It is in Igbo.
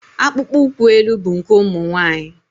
Akpụkpọ ụkwụ elu bụ nke ụmụ nwaanyị.